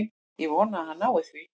Ég vona að hann nái því.